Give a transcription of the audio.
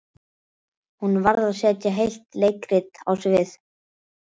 Hún varð að setja heilt leikrit á svið.